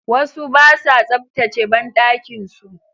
Wasu basa tsaftace banɗakin su